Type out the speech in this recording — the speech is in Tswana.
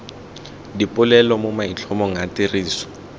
dipolelo mo maitlhomong a tiriso